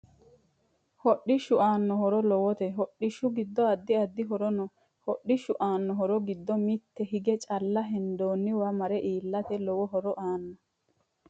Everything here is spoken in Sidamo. Hodhishu anao horo lowote hodhishu giddo addi addi horo no hodhishu aanno horo giddo mitte hige calla hendooniwa mare iilate lowo horo aano